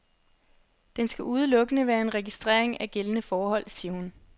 Den skal udelukkende være en registrering af gældende forhold, siger hun.